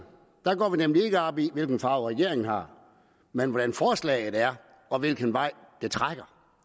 nemlig ikke op i hvilken farve regeringen har men hvordan forslaget er og hvilken vej det trækker